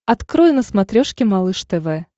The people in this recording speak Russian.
открой на смотрешке малыш тв